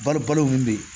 Balo balo min bɛ yen